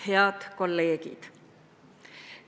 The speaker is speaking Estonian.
Head kolleegid!